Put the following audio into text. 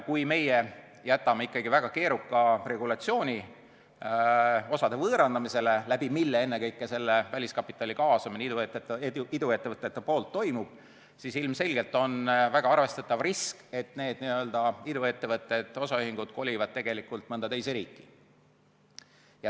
Kui meie jätame ikkagi väga keeruka regulatsiooni osade võõrandamise jaoks , siis ilmselgelt on väga arvestatav risk, et need iduettevõtted, osaühingud, kolivad mõnda teise riiki.